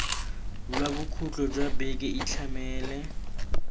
lwa bokhutlo jwa beke itlhamele